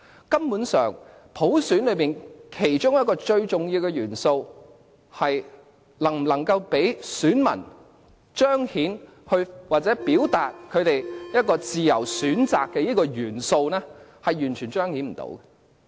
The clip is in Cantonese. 根本上，普選其中一個最重要的元素，即能否讓選民彰顯或表達其有自由選擇的元素，是完全無法彰顯的。